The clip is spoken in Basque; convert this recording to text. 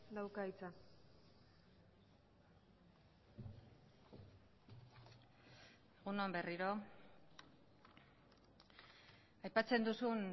dauka hitza egun on berriro aipatzen duzun